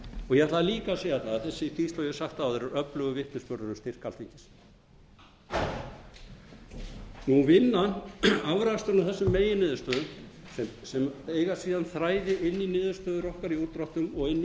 ég ætla líka að segja það að þessi skýrsla eins og ég hef sagt áður er öfugur vitnisburður um styrk alþingis afraksturinn af þessum meginniðurstöðum sem eiga síðan þræði inn í niðurstöður okkar í útdráttum og inn í